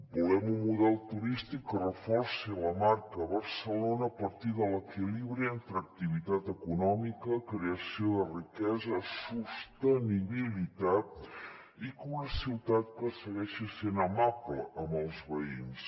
volem un model turístic que reforci la marca barcelona a partir de l’equilibri entre activitat econòmica creació de riquesa i sostenibilitat i una ciutat que segueixi sent amable amb els veïns